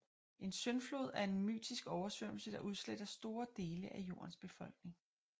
En syndflod er en mytisk oversvømmelse der udsletter store dele af jordens befolkning